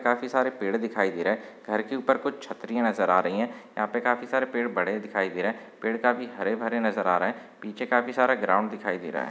काफी सारे पेड़ दिखाई दे रहे है। घर की उपर कुछ छत्रिया नज़र आ रही है। यहा पर काफी सारे पेड़ बड़े दिखाई दे रहे है। पेड़ काफी हरे भरे नज़र आ रहा है। पीछे काफी सारा ग्राउंड दिखाई दे रहा है।